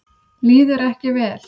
Líður ekki vel.